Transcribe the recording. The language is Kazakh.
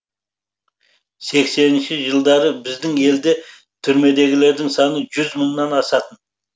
сексенінші жылдары біздің елде түрмедегілердің саны жүз мыңнан асатын